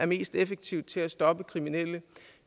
mest effektive til at stoppe kriminelle